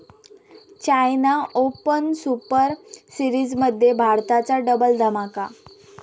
China Open Super सीरिजमध्ये भारताचा double धमाका!